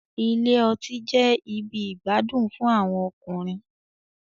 Ilé ọtí jẹ ibì igbadun fún àwọn ọkùnrin